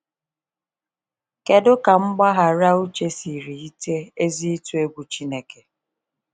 Kedụ ka mgbaghara Uche siri yite ezi ịtụ egwu Chineke?